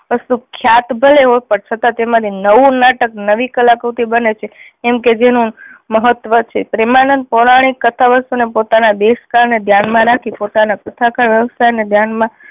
વસ્તુ ખ્યાત ભલે હોય પણ છતાં તેમાંથી નવું નાટક નવી કલા કૃતિ બને છે એમ કે જેનું મહત્વ છે. પ્રેમાનંદ પ્રોણાણીક કથાઓ ને પોતાના દેશ કાળ ને ધ્યાન માં રાખી પોતાના કથા કાળ વ્યવસાય ને ધ્યાન માં